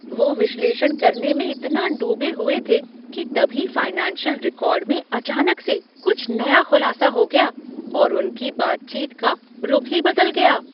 वो विश्लेषण करने में इतना डूबे हुए थे कि तभी फाइनेंशियल रिकॉर्ड में अचानक से कुछ नया खुलासा हो गया और उनकी बातचीत का रुख ही बदल गया।